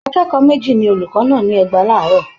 Akẹ́kọ̀ọ́ méjì ni olùkọ́ nà ní ẹgba láàárọ̀